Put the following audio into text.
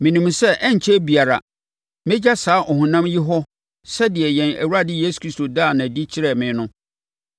Menim sɛ ɛrenkyɛre biara mɛgya saa ɔhonam yi hɔ sɛdeɛ yɛn Awurade Yesu Kristo daa no adi kyerɛɛ me no.